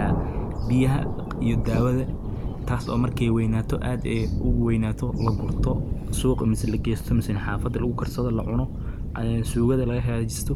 jiray nin uu ku taaganyahay urur inuu warshadayo uu shiido.